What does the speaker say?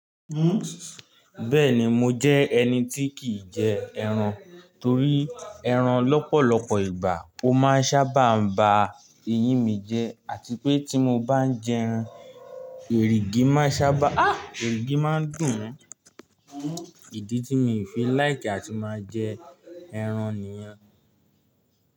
Bẹ́ẹ̀ni, mo jẹ́ ẹni tí kìí jẹ ẹran torí ẹran lọ́pọ̀lọpọ̀ ìgbà ó máa ń sábà ba eyín mi jẹ́ àti pé tí mo bá ń jẹ ẹran, èrìgì máa ń sábà, èrìgì máa ń dùn mi. Ìdí tí mi fi like àti máa jẹ ẹran nìyẹn.